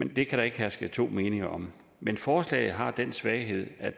det kan der ikke herske to meninger om men forslaget har den svaghed at